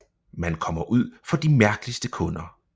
Man kommer ud for de mærkeligste kunder